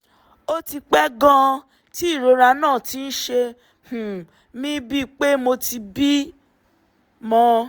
ó ti pẹ́ gan-an tí ìrora náà ti ń ṣe um mí bíi pé mo ti bímọ